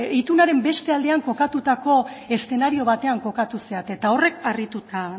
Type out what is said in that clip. itunaren beste aldean kokatutako eszenario batean kokatu zarete eta horrek harrituta